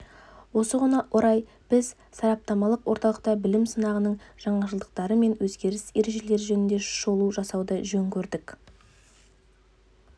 осыған орай біз сараптамалық орталықта білім сынағының жаңашылдықтары мен өзгерген ережелері жөнінде шолу жасауды жөн көрдік